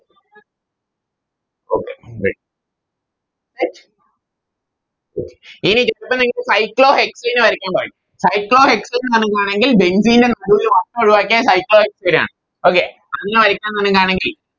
Okay ഇനി cyclo hexane വരയ്ക്കാൻ പറയും cyclo hexane വരാക്കുവാണെങ്കിൽ Benzene ൻറെ നടുവിൽ വട്ടം ഒഴുവാക്കിയാൽ cyclo hexane ആണ് Okay അതെങ്ങനെ വരക്കാം അങ്ങനെയാണെങ്കിൽ